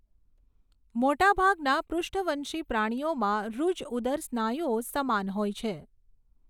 મોટા ભાગના પૃષ્ઠવંશી પ્રાણીઓમાં ઋજ ઉદર સ્નાયુઓ સમાન હોય છે.